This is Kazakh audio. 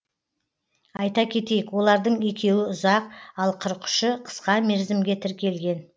айта кетейік олардың екеуі ұзақ ал қырық үші қысқа мерзімге тіркелген